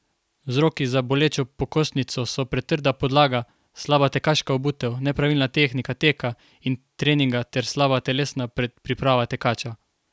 Vzroki za bolečo pokostnico so pretrda podlaga, slaba tekaška obutev, nepravilna tehnika teka in treninga ter slaba telesna predpriprava tekača.